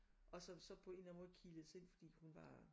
Og som så på en eller anden måde kilede sig ind fordi hun var